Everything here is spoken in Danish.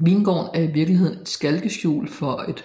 Vingården er i virkeligheden et skalkeskjul for et